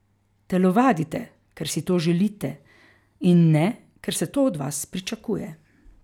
Telovadite, ker si to želite in ne, ker se to od vas pričakuje.